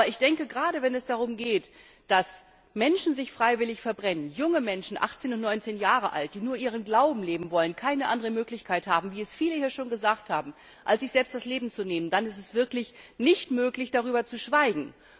Aber gerade, wenn es darum geht, dass Menschen sich freiwillig verbrennen, wenn junge Menschen, 18 und 19 Jahre alt, die nur ihren Glauben leben wollen, keine andere Möglichkeit haben, als sich selbst das Leben zu nehmen, dann ist es wirklich nicht möglich, darüber zu schweigen.